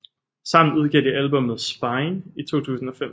Sammen udgav de albummet Spine i 2005